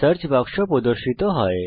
search বাক্স প্রদর্শিত হয়